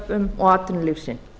þörfum og atvinnulífsins